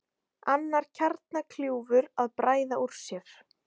Annar kjarnakljúfur að bræða úr sér